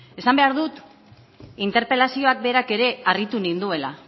esan behar dut interpelazioa berak ere harritu ninduela